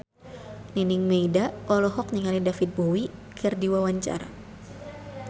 Nining Meida olohok ningali David Bowie keur diwawancara